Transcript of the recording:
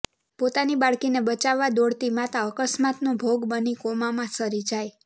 પોતાની બાળકીને બચાવવા દોડતી માતા અકસ્માતનો ભોગ બની કોમામાં સરી જાય